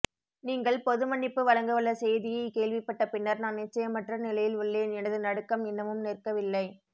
நீங்கள் பொதுமன்னிப்பு வழங்கவுள்ள செய்தியை கேள்விப்பட்ட பின்னர் நான் நிச்சயமற்ற நிலையில் உள்ளேன் எனது நடுக்கம் இன்னமும் நிற்கவில்லை